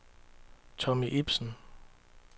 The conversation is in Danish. Tommy Ibsen